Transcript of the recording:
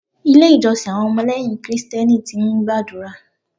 Ilé ìjọsìn àwọn ọmọ lẹ́yìn Kristẹni ti ń gbàdúrà.